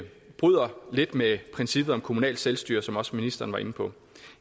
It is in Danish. bryder lidt med princippet om kommunalt selvstyre som også ministeren var inde på